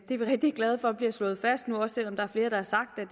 er vi rigtig glade for bliver slået fast nu også selv om der er flere der har sagt at